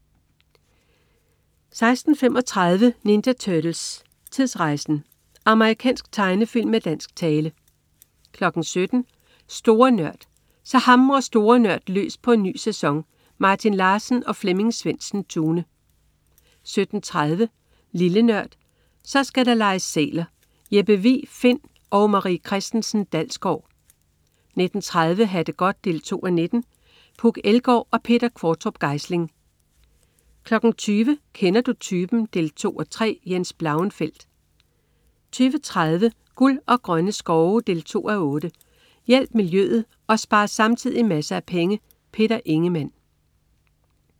16.35 Ninja Turtles: Tidsrejsen! Amerikansk tegnefilm med dansk tale 17.00 Store Nørd. Så hamrer Store NØRD løs på en ny sæson! Martin Larsen og Flemming Svendsen-Tune 17.30 Lille Nørd. Så skal der leges sæler! Jeppe Vig Find & Marie Christensen Dalsgaard 19.30 Ha' det godt 2:19. Puk Elgård og Peter Qvortrup Geisling 20.00 Kender du typen? 2:3. Jens Blauenfeldt 20.30 Guld og grønne skove 2:8. Hjælp miljøet og spar samtidig masser af penge. Peter Ingemann